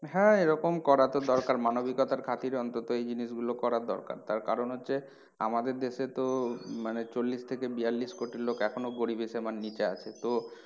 হ্যাঁ এরকম করা তো দরকার মানবিকতার খাতিরে অন্তত এই জিনিস গুলো করা দরকার। তার কারণ হচ্ছে আমাদের দেশে তো মানে চল্লিশ থেকে বিয়াল্লিশ কোটি লোক এখনো গরিবি সীমার নিচে আছে। তো